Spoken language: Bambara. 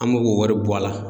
An me k'o wari bɔ a la